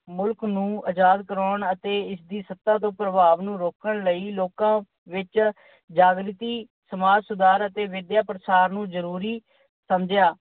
ਮੁਲਕ ਨੂੰ ਆਜਾਦ ਕਰਵਾਉਣ ਅਤੇ ਇਸ ਦੀ ਸੱਤਾ ਦੇ ਪ੍ਰਭਾਵ ਨੂੰ ਰੋਕਣ ਲਈ ਲੋਕਾਂ ਵਿੱਚ ਜਾਗ੍ਰਤੀ, ਸਮਾਜ ਸੁਧਾਰ ਅਤੇ ਵਿਦਿਆ ਪ੍ਰਸਾਰ ਨੂੰ ਜਰੂਰੀ ਸਮਝਿਆ।